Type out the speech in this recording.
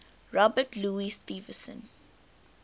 robert louis stevenson